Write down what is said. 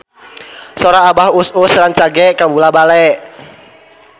Sora Abah Us Us rancage kabula-bale